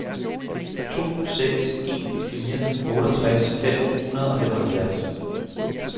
to seks en fire otteogtres fem hundrede og femoghalvfjerds